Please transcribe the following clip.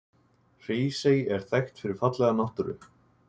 Hrísey er þekkt fyrir fallega náttúru.